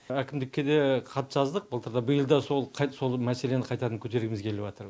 әкімдікке де хат жаздық былтыр да биыл да сол мәселені қайтадан көтергіміз келіватыр